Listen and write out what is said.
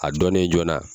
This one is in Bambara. A dɔnnen joona